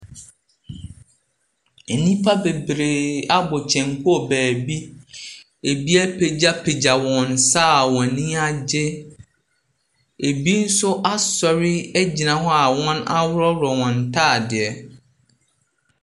Nnipa bebree abɔ kyɛnku wɔ beebi, bi apagyapagya wɔn nsa a wɔn ani agye, bi nso asɔre a wɔaworɔworɔ wɔn ntaade.